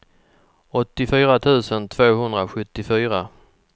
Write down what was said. åttiofyra tusen tvåhundrasjuttiofyra